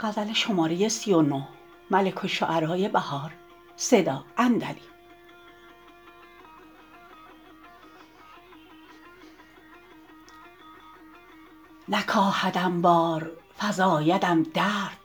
نکاهدم بار فزایدم درد